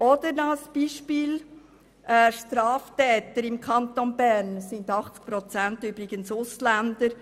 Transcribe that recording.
Ein drittes Beispiel sind die Straftäter im Kanton Bern, übrigens zu 80 Prozent Ausländer.